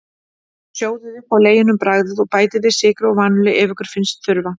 Sjóðið upp á leginum, bragðið, og bætið við sykri og vanillu ef ykkur finnst þurfa.